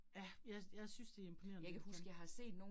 Ja, jeg jeg synes det imponerende i hvert fald